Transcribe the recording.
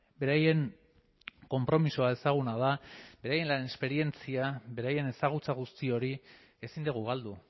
beraien konpromisoa ezaguna da beraien lan esperientzia beraien ezagutza guzti hori ezin dugu galdu